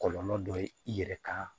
Kɔlɔlɔ dɔ ye i yɛrɛ ka